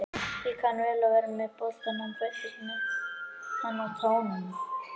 Hann kann vel við að vera með boltann, hann fæddist með hann á tánum.